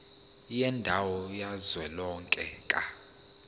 yendawo kazwelonke ka